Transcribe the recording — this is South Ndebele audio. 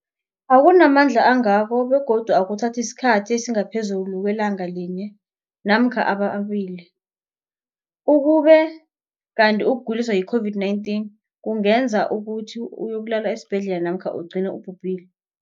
akuna mandla angako begodu akuthathi isikhathi esingaphezulu kwelanga linye namkha mabili, ukube kanti ukuguliswa yi-COVID-19 kungenza ukuthi uyokulala esibhedlela namkha ugcine ubhubhile.